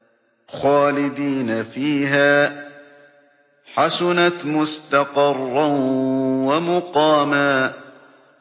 خَالِدِينَ فِيهَا ۚ حَسُنَتْ مُسْتَقَرًّا وَمُقَامًا